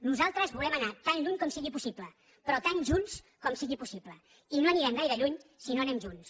nosaltres volem anar tan lluny com sigui possible però tan junts com sigui possible i no anirem gaire lluny si no anem junts